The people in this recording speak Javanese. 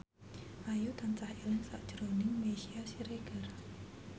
Ayu tansah eling sakjroning Meisya Siregar